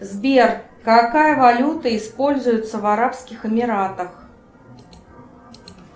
сбер какая валюта используется в арабских эмиратах